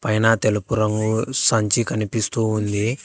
పైన తెలుపు రంగు సంచి కనిపిస్తూ ఉంది.